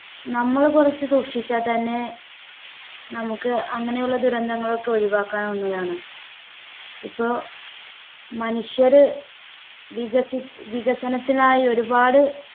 നമ്മളു കുറച്ചു സൂക്ഷിച്ചാൽ തന്നെ നമുക്ക് അങ്ങനെയുള്ള ദുരന്തങ്ങൾ ഒക്കെ ഒഴിവാക്കാനാവുന്നതാണ് ഇപ്പോ മനുഷ്യരെ വികസി വികസനത്തിനായി ഒരുപാട്